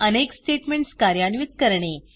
अनेक स्टेटमेंट्स कार्यान्वित करणे